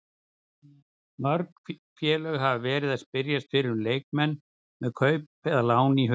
Mörg félög hafa verið að spyrjast fyrir um leikmenn með kaup eða lán í huga.